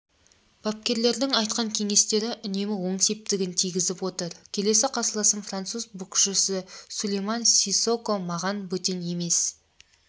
бапкерлердің айтқан кеңестері үнемі оң септігін тигізіп отыр келесі қарсыласым француз боксшысысулейман сиссокомаған бөтен емес